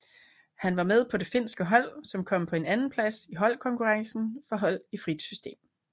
Han var med på det finske hold som kom på en andenplads i holdkonkurrencen for hold i frit system